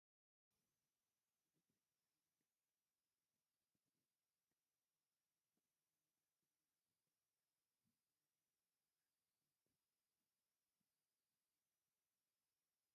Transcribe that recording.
ብዙሕ ባህላዊ ወንበር ኣብ እንዳ ፈርኒቸር ተሰጢሑ ኣሎ ። እቲ ወንበር ድማ ብ ቀይሕ ሕብሪ ዝተቀበኣ እዩ ። ድሕሪ እት ወንበር ድማ ቆርቆሮ ኣሎ ።